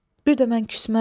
Bir də mən küsməzdim.